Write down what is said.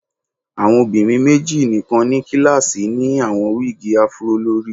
Awọn obinrin meji nikan ni kilasi ni awọn wigi afro lori